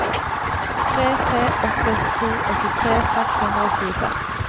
tre tre åtte to åttitre seks hundre og tjueseks